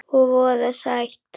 Og voða sætt.